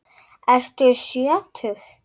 Ertu sjötug?